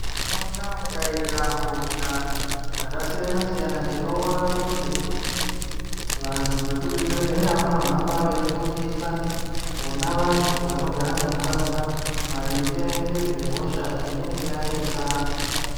Munharaunda mukaita hosha dzakasiyanasiyana tinoona kuti vantu vekuzvibhehleya vanohamba veifundisa vona vantu vanogara munharaunda maringe ngezvehosha inenge yanesa.